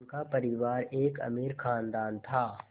उनका परिवार एक अमीर ख़ानदान था